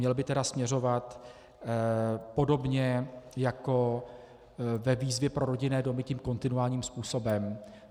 měl by tedy směřovat podobně jako ve výzvě pro rodinné domy tím kontinuálním způsobem.